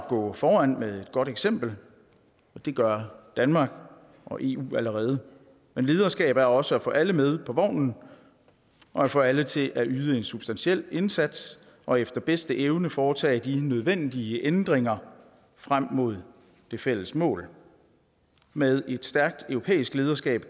gå foran med et godt eksempel og det gør danmark og eu allerede men lederskab er også at få alle med på vognen og at få alle til at yde en substantiel indsats og efter bedste evne foretage de nødvendige ændringer frem mod det fælles mål med et stærkt europæisk lederskab